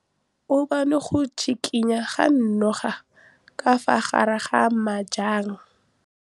O bone go tshikinya ga noga ka fa gare ga majang.